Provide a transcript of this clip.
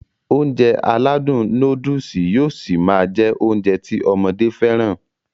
Ounjẹ aládùn nóódùsì yóó ṣi máá jẹ́ Ounjẹ ti ọmọdé fẹ́ràn